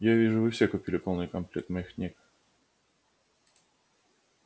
я вижу вы все купили полный комплект моих книг